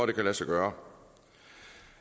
det kan lade sig gøre